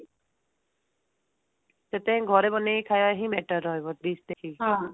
ସେଥିପାଇଁ ଘରେ ବନେଇକି ଖାଇବା ହିଁ better ରହିବ dish ଦେଖିକି